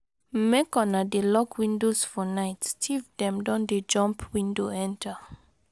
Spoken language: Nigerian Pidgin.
Make una dey lock windows for night, tif dem don dey jump window enta.